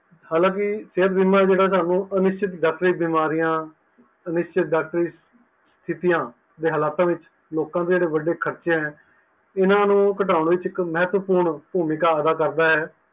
ਹਾਲਾਂਕਿ ਸੇਹਤ ਬੀਮਾ ਜੇਹੜਾ ਤੁਹਾਨੂੰ ਅਨਿਸ਼ਤ ਡੋਕਟੋਰੀ ਅਨਿਸ਼ਤ ਡਕੋਰੀ ਸਤਹਿਤਯਾ ਦੇ ਹਾਲਾਤਾਂ ਵਿੱਚ ਲੋਕਾਂ ਦੇ ਵਢੇ ਖਰਚੇ ਨੂੰ ਇਹਨਾਂ ਨੂੰ ਘਟਾਉਣ ਵਿੱਚ ਇੱਕ ਮਹਤਾਪੁਰਨ ਭੂਮਿਕਾ ਅਦਾ ਕਰਦਾ ਹੈ